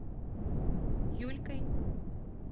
юлькой